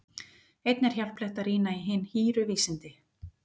Einnig er hjálplegt að rýna í Hin hýru vísindi.